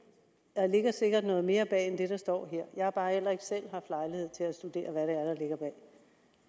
der ligger sikkert noget mere bag end det der står her jeg har bare heller ikke selv haft lejlighed til at studere hvad